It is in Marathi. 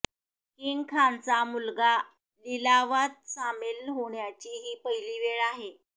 किंग खानचा मुलगा लिलावात सामील होण्याची ही पहिली वेळ आहे